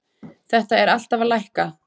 Þetta er alltaf að lækka.